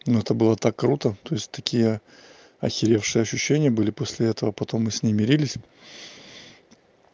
но это было так круто то есть такие охеревший ощущения были после этого потом мы с ней мирились